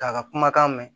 K'a ka kumakan mɛn